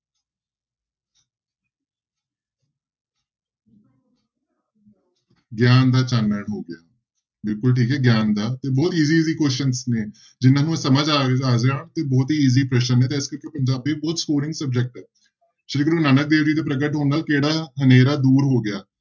ਗਿਆਨ ਦਾ ਚਾਨਣ ਹੋ ਗਿਆ, ਬਿਲਕੁਲ ਠੀਕ ਹੈ ਗਿਆਨ ਦਾ ਤੇ ਬਹੁਤ easy easy questions ਨੇ ਜਿਹਨਾਂ ਨੂੰ ਸਮਝ ਆ ਆ ਗਿਆ ਬਹੁਤ ਹੀ easy question ਨੇ ਤੇ ਪੰਜਾਬੀ ਬਹੁਤ subject ਹੈ, ਸ੍ਰੀ ਗੁਰੂ ਨਾਨਕ ਦੇਵ ਜੀ ਦੇ ਪ੍ਰਗਟ ਹੋਣ ਨਾਲ ਕਿਹੜਾ ਹਨੇਰਾ ਦੂਰ ਹੋ ਗਿਆ?